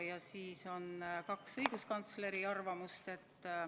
Ja siis on kaks õiguskantsleri arvamust.